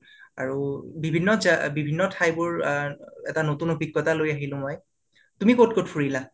আৰু বিভিন্ন উম ঠাইবোৰ উম এটা নতুন অভিজ্ঞতা লৈ আহিলো মই l তুমি ক'ত ক'ত ফুৰিলা?